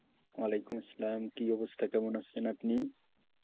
ওয়ালাইকুম আসসালামকি অবস্থা? কেমন আছেন আপনি?